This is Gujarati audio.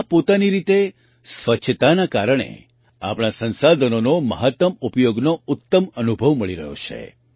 આ પોતાની રીતે સ્વચ્છતાના કારણે આપણા સંસાધનોનો મહત્તમ ઉપયોગનો ઉત્તમ અનુભવ મળી રહ્યો છે